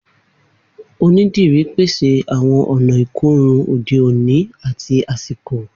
Onídìrí pese awọn ọna ikorun ode oni ati asiko